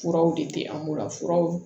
Furaw de tɛ an bolo furaw